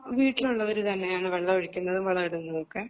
വീട്ടിലുള്ളവര് തന്നെയാണ് വെള്ളമൊഴിക്കുന്നതും വളമിടുന്നതും ഒക്കെ